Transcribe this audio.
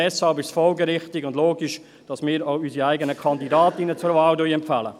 Deshalb ist es folgerichtig und logisch, dass wir unsere eigenen Kandidatinnen zur Wahl empfehlen.